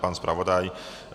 Pan zpravodaj?